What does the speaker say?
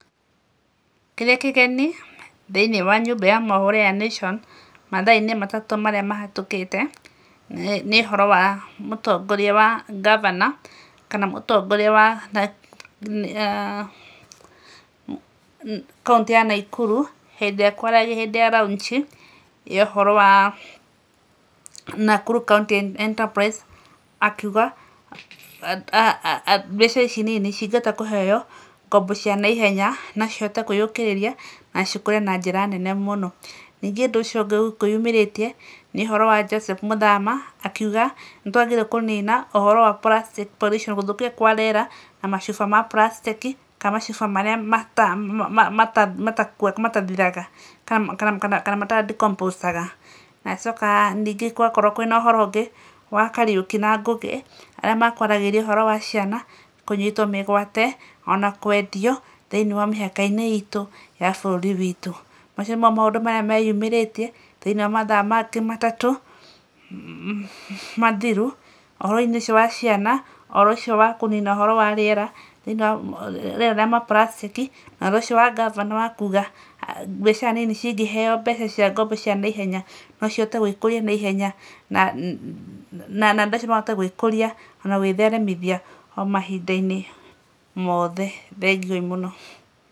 Kĩrĩa kĩgeni thĩinĩ wa nyũmba ya mohoro ya Nation, mathaa-inĩ matatũ marĩa mahĩtũkĩte, nĩ ũhoro wa mũtongoria wa governor kana mũtongoria wa kauntĩ ya Naikuru, hĩndĩ ĩrĩa ekwaragia hĩndĩ ya launch i ya ũhoro wa Nakuru county enterprise akiuga mbiacara ici nini cingĩhota kũheo ngombo cianaihenya, nocihote kwĩyũkĩrĩria na cikũre na njĩra nene mũno. Ningĩ ũndũ ũcio ũngĩ ũkwĩyumĩrĩtie, nĩ ũhoro wa Joseph Mũthama, akiuga nĩtwagĩrĩirwo kũnina ũhoro wa plastic pollution gũthũkia kwa rĩera na macuba ma plastic i, kana macuba marĩa matathiraga kana mata dicompose aga, na acoka ningĩ gwakorwo kwĩna ũhoro ũngĩ, wa Kariũki na Ngũgĩ, arĩa mekwaragĩrĩria ũhoro wa ciana kũnyitwo mĩgwate, ona kwendio, thĩinĩ wa mĩka-inĩ itũ, ya bũrũri witũ. Macio nĩmo maũndũ marĩa meyumĩrĩtie thĩinĩ wa mathaa matatũ, mathiru, ũhoro-inĩ ũcio wa ciana, ũhoro ũcio wa kũnina ũhoro wa rĩera thĩinĩ wa rĩera rĩa plastic i, ũhoro ũcio wa governor kuga mbiacara nini cingĩheo mbeca cia ngombo cia naihenya nocihote gwĩkũria naiyenya andũ acio nomahote gwĩkũria, onagwĩtheremithia omahinda-inĩ mothe, thengiũi mũno.